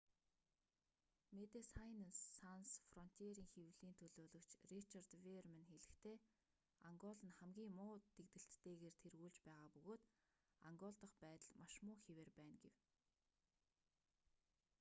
мэдэсайнес санс фронтиерийн хэвлэлийн төлөөлөгч ричард веерман хэлэхдээ ангол нь хамгийн муу дэгдэлттэйгээр тэргүүлж байгаа бөгөөд ангол дахь байдал маш муу хэвээр байна гэв